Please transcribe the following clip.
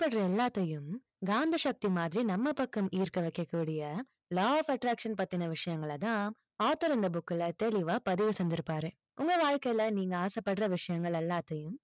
ஆசைப்படுற எல்லாத்தையும், காந்த சக்தி மாதிரி நம்ம பக்கம் ஈர்க்க வைக்கக்கூடிய law of attraction பத்தின விஷயங்களை தான் author இந்த book ல தெளிவா பதிவு செஞ்சிருப்பாரு. உங்க வாழ்க்கையில் நீங்க ஆசைப்படுற விஷயங்கள் எல்லாத்தையும்,